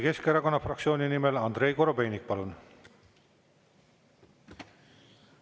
Eesti Keskerakonna fraktsiooni nimel Andrei Korobeinik, palun!